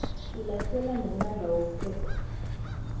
selasele namandla wemithetho